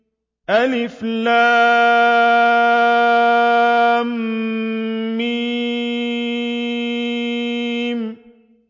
الم